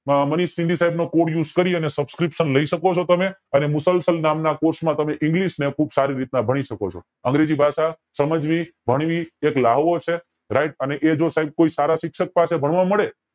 મનીષસિંહ ની સાઇબ નો code use કરી અને subscription લય શકો છો તમે અને મુસલસલ નામ ના course ને તમે english ખુબ સારી રીતે ભણી શકો છો અંગ્રેજી ભાષા સમજવી ભણવી એક લ્હાવો છે right અને એ જો સાઇબ કોઈ સારા શિક્ષક પાસે ભણવા મળે